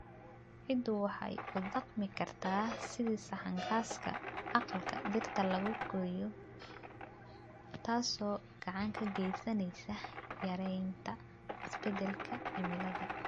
Ciiddu waxay u dhaqmi kartaa sidii saxan gaaska aqalka dhirta lagu koriyo, taasoo gacan ka geysaneysa yareynta isbedelka cimilada.